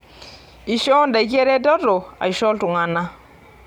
Eishoo ndaiki eretoto aisho iltung'ana.